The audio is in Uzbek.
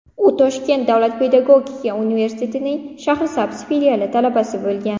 U Toshkent davlat pedagogika universitetining Shahrisabz filiali talabasi bo‘lgan.